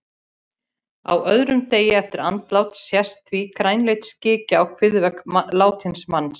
Á öðrum degi eftir andlát sést því grænleit slikja á kviðvegg látins manns.